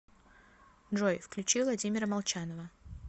джой включи владимира молчанова